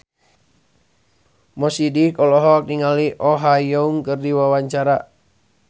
Mo Sidik olohok ningali Oh Ha Young keur diwawancara